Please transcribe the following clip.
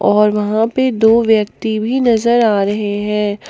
और वहां पे दो व्यक्ति भी नजर आ रहे हैं।